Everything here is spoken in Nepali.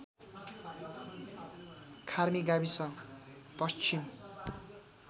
खार्मी गाविस पश्चिम